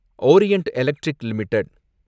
Orient Electric limited